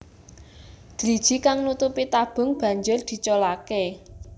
Driji kang nutupi tabung banjur diculaké